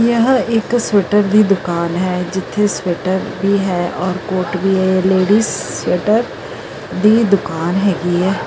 ਯਹ ਇਕ ਸਵੈਟਰ ਦੀ ਦੁਕਾਨ ਹੈ ਜਿੱਥੇ ਸਵੈਟਰ ਵੀ ਹੈ ਔਰ ਕੋਰਟ ਵੀ ਲੇਡੀਜ ਸਵੈਟਰ ਦੀ ਦੁਕਾਨ ਹੈਗੀ ਹ ।